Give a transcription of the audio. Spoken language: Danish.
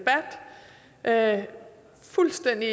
er jeg fuldstændig